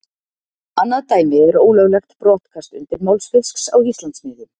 Annað dæmi er ólöglegt brottkast undirmálsfisks á Íslandsmiðum.